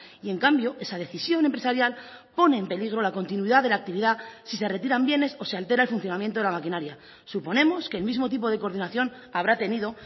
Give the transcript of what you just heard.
y en cambio esa decisión empresarial pone en peligro la continuidad de la actividad si se retiran bienes o se altera el funcionamiento de la maquinaria suponemos que el mismo tipo de coordinación habrá tenido